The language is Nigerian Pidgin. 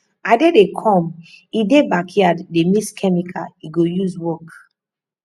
ade dey come he dey backyard dey mix chemical he go use work